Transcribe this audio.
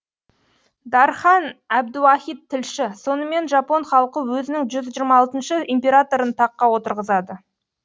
дархан әбдуахит тілші сонымен жапон халқы өзінің жүз жиырма алтыншы императорын таққа отырғызады